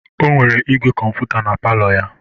O nwere igwe kọmputa na palọ ya.